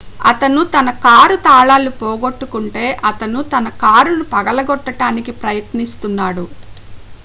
అతను తన కారు తాళాలు పోగొట్టుకుంటే అతను తన కారు ను పగలగొట్టడానికి ప్రయత్నిస్తున్నాడు